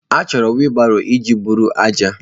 Achọrọ wiilibaro iji eburu ájá.